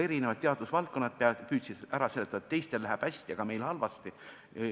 Eri teadusvaldkondade inimesed püüdsid seletada, et teistel läheb hästi, aga meil halvasti.